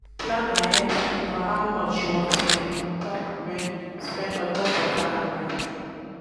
plan ahead for how much you wan spend ontop wan spend ontop water and light